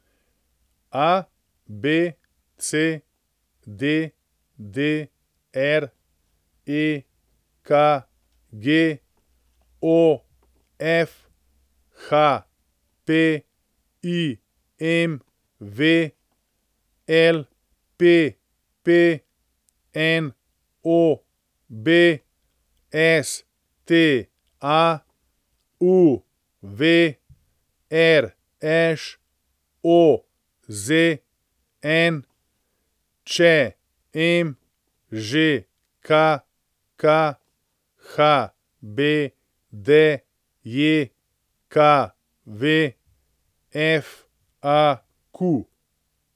ABC, DDR, EKG, OF, HP, IMV, LPP, NOB, STA, UV, RŠ, OZN, ČM, ŽKK, HBDJKV, FAQ.